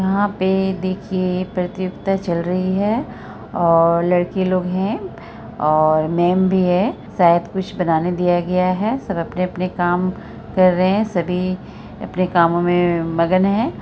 '' यहाँ पे देखिए प्रतियोगिता चल रही है और लड़के लोग हैं और मेम भी है सायद कुछ बनाने दिया गया है| सब अपने-अपने काम कर रहे हैं सभी अपने कामों में मगन हैं। ''